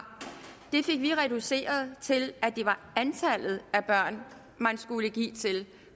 det fik vi reduceret til at det var antallet af børn man skulle give til